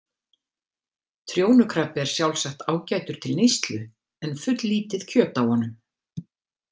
Trjónukrabbi er sjálfsagt ágætur til neyslu en fulllítið kjöt á honum.